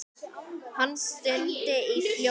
Hann stundi í hljóði.